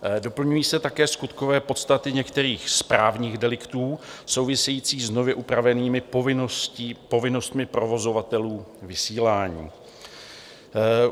Doplňují se také skutkové podstaty některých správních deliktů souvisejících s nově upravenými povinnostmi provozovatelů vysílání.